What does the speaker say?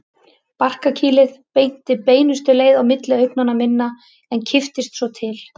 Barkakýlið benti beinustu leið á milli augna minna en kipptist svo til.